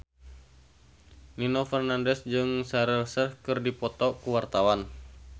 Nino Fernandez jeung Shaheer Sheikh keur dipoto ku wartawan